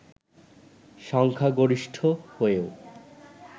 সংখ্যাগরিষ্ঠ হয়েও